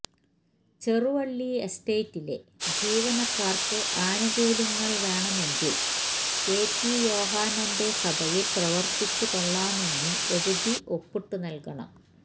ചെറുവള്ളി എസ്റ്റേറ്റിലെ ജീവനക്കാർക്ക് അനുകൂല്യങ്ങൾ വേണമെങ്കിൽ കെ പി യോഹന്നാന്റെ സഭയിൽ പ്രവർത്തിച്ചു കൊള്ളാമെന്ന് എഴുതി ഒപ്പിട്ടു നൽകണം